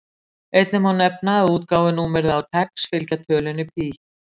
Einnig má nefna að útgáfunúmer á TeX fylgja tölunni pí.